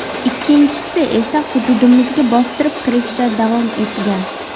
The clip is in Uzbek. Ikkinchisi esa hududimizga bostirib kirishda davom etgan.